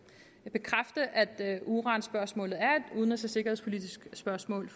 bekræfte at at uranspørgsmålet er et udenrigs og sikkerhedspolitisk spørgsmål